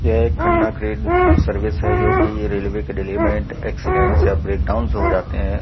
यह एक Khanna crane service है जो की रेलवे के डिलीमेंट एक्सीडेंटस या ब्रेकडाउन हो जाते हैं।